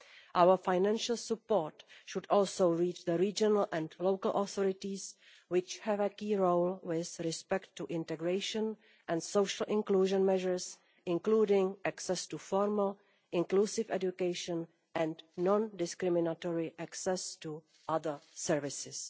Our financial support should also reach the regional and local authorities, which have a key role with respect to integration and social inclusion measures including access to formal, inclusive education and non-discriminatory access to other services.